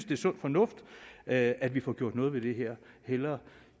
det er sund fornuft at at vi får gjort noget ved det her hellere